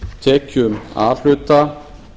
tekjum a hluta